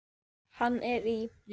Hann er í